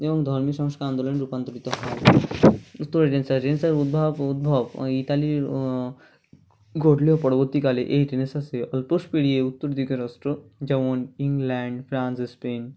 যেমন ধর্মীয় সংস্কার আন্দোলনে রূপান্তরিত হয় উত্তরে উদ্ভাব ও উদ্ভব আআ ইতালির আআ ঘটলেও পরবর্তী কালে এই Renaissance -এর আলপোস পেরিয়ে উত্তর দিকের রাষ্ট্র যেমন ইংল্যান্ড ফ্রান্স স্পেন